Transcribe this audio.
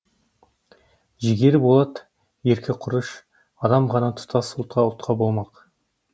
жігері болат еркі құрыш адам ғана тұтас ұлтқа тұтқа болмақ